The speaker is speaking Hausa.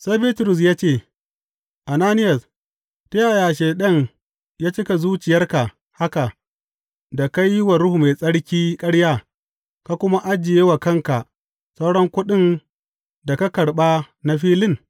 Sai Bitrus ya ce, Ananiyas, ta yaya Shaiɗan ya cika zuciyarka haka da ka yi wa Ruhu Mai Tsarki ƙarya ka kuma ajiye wa kanka sauran kuɗin da ka karɓa na filin?